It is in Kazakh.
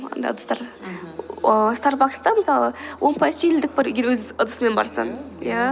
анда ыдыстар мхм старбакста мысалы он пайыз жеңілдік бар егер өз ыдысымен барсаң иә